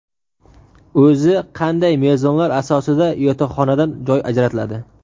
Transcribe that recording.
O‘zi qanday mezonlar asosida yotoqxonadan joy ajratiladi?.